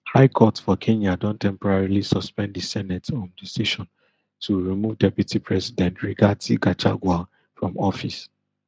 high court for kenya don temporarily suspend di senate um decision to remove deputy president rigathi gachagua from office